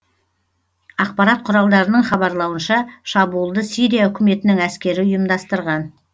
ақпарат құралдарының хабарлауынша шабуылды сирия үкіметінің әскері ұйымдастырған